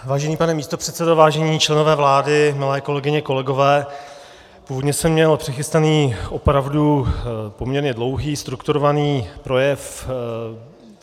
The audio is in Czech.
Vážený pane místopředsedo, vážení členové vlády, milé kolegyně, kolegové, původně jsem měl přichystaný opravdu poměrně dlouhý strukturovaný projev.